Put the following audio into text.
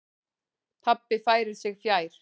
Pabbi færir sig fjær.